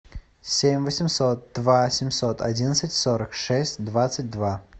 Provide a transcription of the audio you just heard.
семь восемьсот два семьсот одиннадцать сорок шесть двадцать два